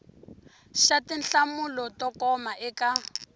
xa tinhlamulo to koma eka